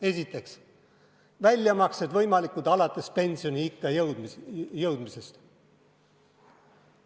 Esiteks, väljamaksed on võimalikud alates pensioniikka jõudmisest.